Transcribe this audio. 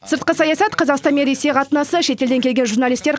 сыртқы саясат қазақстан мен ресей қатынасы шетелден келген журналистер